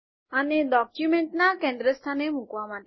આને ડોક્યુમેન્ટના કેન્દ્ર સ્થાને મુકવા માટે